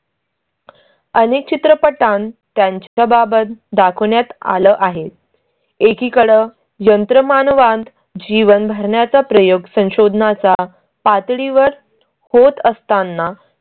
अनेक चित्रपटांत त्यांच्या बाबत दाखवण्यात आलं आहे. एकीकडं यंत्रमानवांत जीवन भरण्याचा प्रयोग संशोधना चा पातळीवर होत असताना